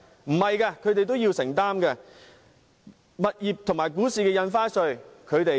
不是的，他們同樣要承擔，也需付物業和股市的印花稅。